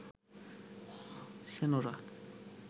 Senora